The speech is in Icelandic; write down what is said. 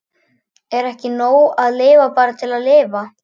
Er ekki nóg að lifa bara til að lifa?